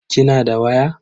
Kina da waya?